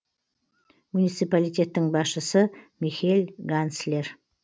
муниципалитеттің басшысы михель ганслер